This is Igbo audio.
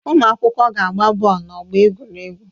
Ụmụ akwụkwọ ga-agba bọọlụ n'ọgbọ egwuregwu